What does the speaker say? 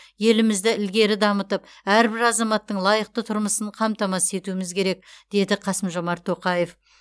елімізді ілгері дамытып әрбір азаматтың лайықты тұрмысын қамтамасыз етуіміз керек деді қасым жомарт тоқаев